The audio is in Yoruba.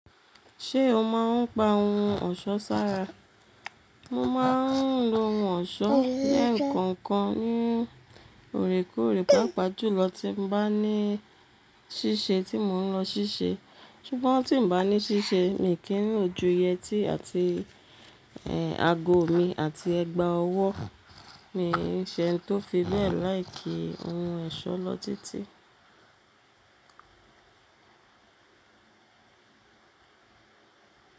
Ṣé o máa ń pa ohun ọ̀ṣọ́ sára? Mo máa ń lo ohun ọ̀ṣọ́ lẹ́ẹ̀kọ̀kan ní òrekoorè, pàápàá jùlọ tí mo bá ní ṣíṣe tí mò ń lọ ṣíṣe. Ṣùgbọ́n tí n bá ní ṣíṣe, mi kí n lojú yẹtí àti ẹ ago mi àti ẹgba ọwọ́. Mi ṣe eni tó fi bẹ́ẹ̀ láì kí ohun ọ̀ṣọ́ lọ títí.